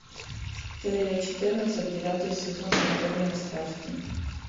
серия четырнадцать девятый сезон анатомия страсти